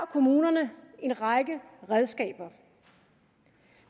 kommunerne en række redskaber